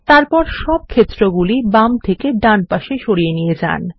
তারপর সব ক্ষেত্রগুলি বাম থেকে ডান পাশে সরিয়ে নিয়ে যান